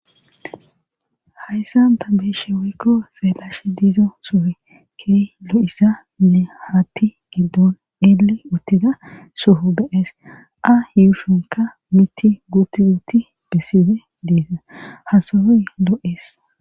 Hayssan ta beeshe weykko xeelash diizo sohe key lo'issa nne hatti giddon eele uttida soho beees a yuushonka miti guuti guuti besside diisa hasoyoy loo'ees.